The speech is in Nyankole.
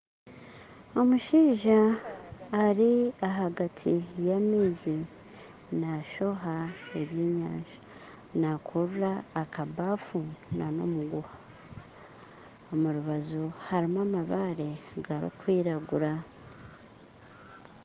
Omushaija ari ahagati y'amaizi naashoha eby'enyanja nakura akabafu n'omuguha omu rubaju harimu amabaare garikwiragura